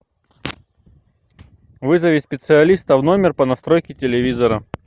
вызови специалиста в номер по настройке телевизора